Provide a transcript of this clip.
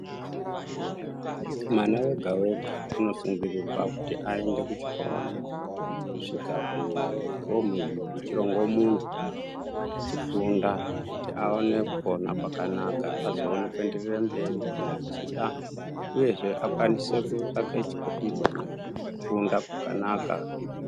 Mwana wega wega anosungirirwe kuti aende kuchikora kusvika kufomu yechirongo mumwe achifunda kuti awane kupona kwakanaka azowanankugone kuenderera mberi kana achida uyezve akwanise kutsvake kufunda kwakanaka.